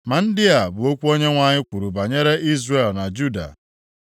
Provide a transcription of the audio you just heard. Ma ndị a bụ okwu Onyenwe anyị kwuru banyere Izrel na Juda.